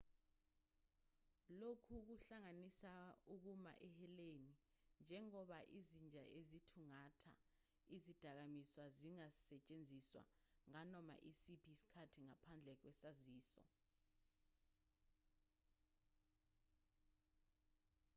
lokhu kuhlanganisa ukuma eheleni njengoba izinja ezithungatha izidakamizwa zingasetshenziswa nganoma isiphi isikhathi ngaphandle kwesaziso